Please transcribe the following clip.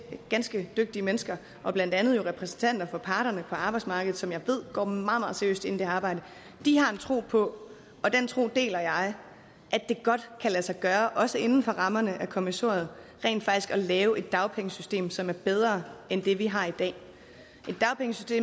ganske dygtige mennesker og blandt andet jo repræsentanter for parterne på arbejdsmarkedet som jeg ved går meget meget seriøst ind i det her arbejde de har en tro på og den tro deler jeg at det godt kan lade sig gøre også inden for rammerne af kommissoriet rent faktisk at lave et dagpengesystem som er bedre end det vi har i dag